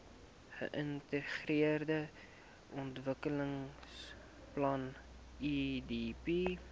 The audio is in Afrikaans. geintegreerde ontwikkelingsplan idp